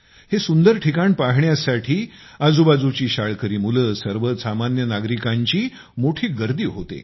हे सुंदर ठिकाण पाहण्यासाठी आजूबाजूची शाळकरी मुले सर्वसामान्य नागरिकांची मोठी गर्दी होते